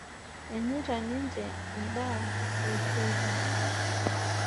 Enyeita ninje endaa e teipa.